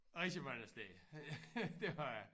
Rejse mange steder det har jeg